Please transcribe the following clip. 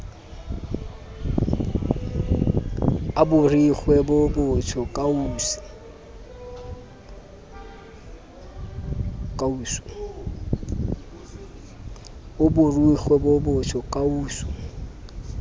a borikgwe bo botsho kausu